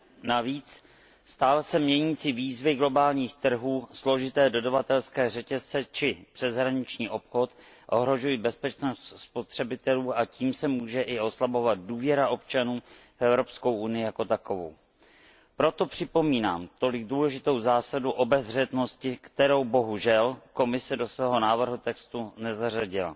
Navíc stále se měnící výzvy globálních trhů, složité dodavatelské řetězce či přeshraniční obchod ohrožují bezpečnost spotřebitelů a tím se může i oslabovat důvěra občanů vEvropskou unii jako takovou. Proto připomínám tolik důležitou zásadu obezřetnosti, kterou bohužel Komise do svého návrhu textu nezařadila.